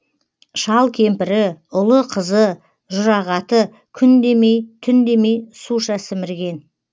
шал кемпірі ұлы қызы жұрағаты күн демей түн демей суша сімірген